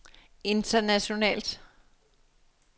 internationalt